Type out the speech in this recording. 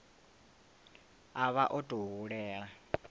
a vha o tou hulela